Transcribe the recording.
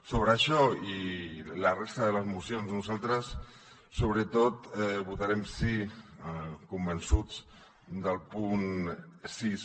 sobre això i la resta de la moció nosaltres sobretot votarem sí convençuts al punt sis